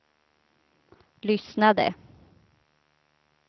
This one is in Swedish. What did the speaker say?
lyssnade